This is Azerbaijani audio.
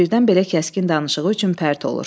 Birdən belə kəskin danışığı üçün pərt olur.